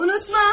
Unutmam.